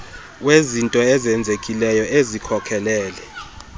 wezinto ezenzekileyo ezikhokelele